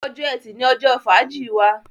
Ọjọ́ Ẹti ní ojó fàájì wá